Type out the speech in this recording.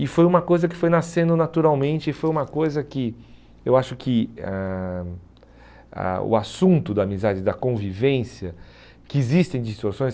E foi uma coisa que foi nascendo naturalmente e foi uma coisa que eu acho que ãh a o assunto da amizade, da convivência, que existem distorções,